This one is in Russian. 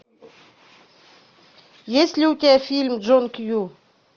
есть ли у тебя фильм джон кью